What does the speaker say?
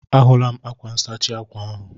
A hụla m ákwá nsachi ákwà ahụ.